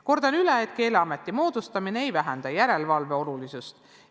Kordan üle, et Keeleameti moodustamine ei vähenda järelevalve olulisust.